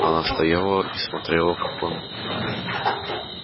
она стояла и смотрела как он